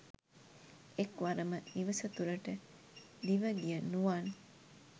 එක්වරම නිවසතුලට දිවගිය නුවන්